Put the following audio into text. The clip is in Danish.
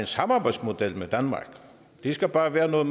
samarbejde med danmark det skal bare være noget